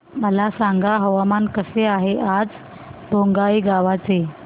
मला सांगा हवामान कसे आहे आज बोंगाईगांव चे